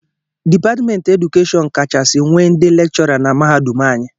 Dipatmentị edukeshọn kachasị nwee ndị lekchọra na mahadum anyị